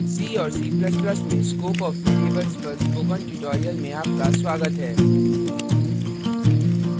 c और c ++ में scope of variables पर spoken tutorial में आपका स्वागत है